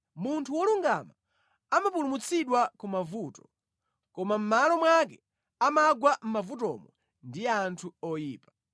Munthu wolungama amapulumutsidwa ku mavuto, koma mʼmalo mwake amagwa mʼmavutomo ndi anthu oyipa.